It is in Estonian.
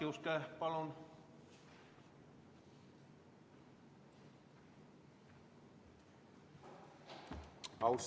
Jaak Juske, palun!